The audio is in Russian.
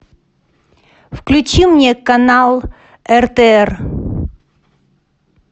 включи мне канал ртр